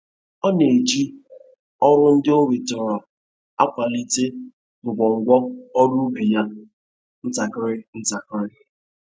Ọ na-eji uru ndị o nwetara akwalite ngwongwo ọrụ ubi ya ntakịrị ntakịrị.